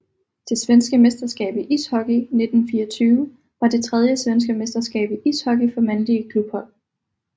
Det svenske mesterskab i ishockey 1924 var det tredje svenske mesterskab i ishockey for mandlige klubhold